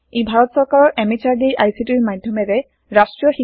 ই ভাৰত সৰকাৰৰ MHRDৰ ICTৰ মাধ্যমেৰে ৰাষ্ট্ৰীয় শীক্ষা মিছনৰ দ্ৱাৰা সমৰ্থিত হয়